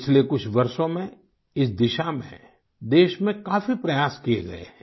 पिछले कुछ वर्षों में इस दिशा में देश में काफी प्रयास किए गये हैं